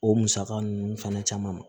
O musaka ninnu fana caman